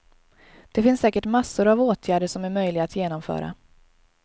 Det finns säkert massor av åtgärder som är möjliga att genomföra.